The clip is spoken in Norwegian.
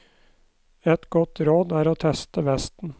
Et godt råd er å teste vesten.